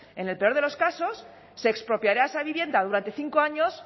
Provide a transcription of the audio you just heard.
en el peor de los casos se expropiará esa vivienda durante cinco años